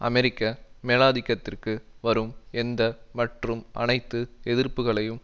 அமெரிக்க மேலாதிக்கத்திற்கு வரும் எந்த மற்றும் அனைத்து எதிர்ப்புக்களையும்